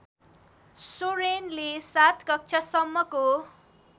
सोरेनले ७ कक्षासम्मको